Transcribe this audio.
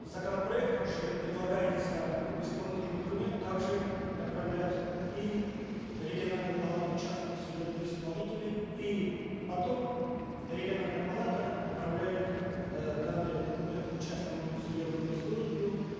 законопроектом же предлагается исполнительный документ также направлять и в региональную палату частных судебных исполнителей и потом региональная палата направляет э данный документ частному судебному исполнителю